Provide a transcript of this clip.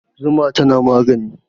Zuma tana magani